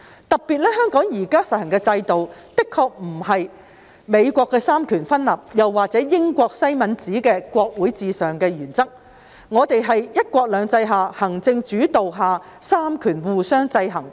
特別一提，香港現時實行的制度的確不是美國的三權分立，也不是英國西敏寺的國會至上原則，我們是在"一國兩制"及行政主導下的三權互相制衡。